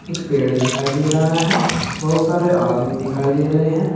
एक पेड़ दिखाई दे रहा है बहुत सारे आदमी दिखाई दे रहे हैं।